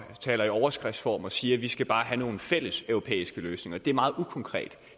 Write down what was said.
taler i overskriftsform og siger at vi bare skal have nogle fælles europæiske løsninger det er meget ukonkret